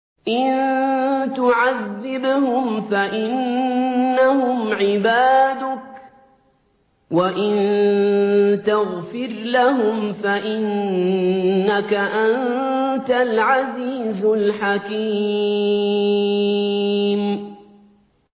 إِن تُعَذِّبْهُمْ فَإِنَّهُمْ عِبَادُكَ ۖ وَإِن تَغْفِرْ لَهُمْ فَإِنَّكَ أَنتَ الْعَزِيزُ الْحَكِيمُ